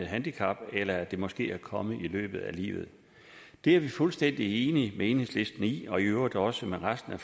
handicap eller at handicappet måske er kommet i løbet af livet vi er fuldstændig enige med enhedslisten i og i øvrigt også med resten af